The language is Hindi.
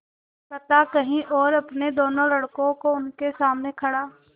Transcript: कथा कही और अपने दोनों लड़कों को उनके सामने खड़ा